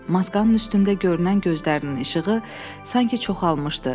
Maskanın üstündə görünən gözlərinin işığı sanki çoxalmışdı.